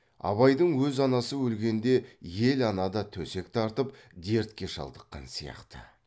абайдың өз анасы өлгенде ел ана да төсек тартып дертке шалдыққан сияқты